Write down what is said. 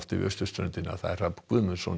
við austurströndina Hrafn Guðmundsson